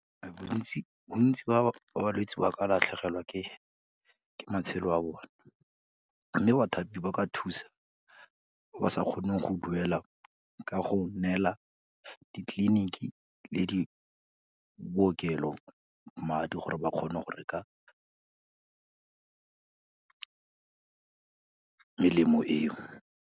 Bontsi ba balwetsi ba ka latlhegelwa ke matshelo a bone, mme bathapi ba ka thusa ba sa kgoneng go duela ka go neela ditleliniki le di, bookelo madi gore ba kgone go reka melemo eo.